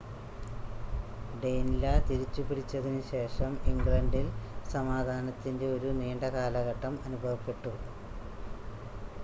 ഡെയിൻലാ തിരിച്ചു പിടിച്ചതിന് ശേഷം ഇംഗ്ലണ്ടിൽ സമാധാനത്തിൻ്റെ ഒരു നീണ്ട കാലഘട്ടം അനുഭവപെട്ടു